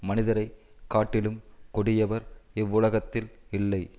மனிதரைக் காட்டிலும் கொடியவர் இவ்வுலகத்தில் இல்லை